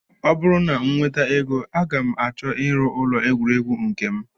Ọ bụrụ na m nweta ego aga m achọ ịrụ ụlọ egwuregwu nke m